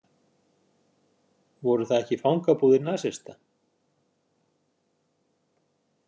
Voru það ekki fangabúðir nasista?